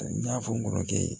N y'a fɔ n kɔrɔkɛ ye